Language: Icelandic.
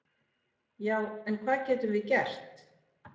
Já en hvað getum við gert?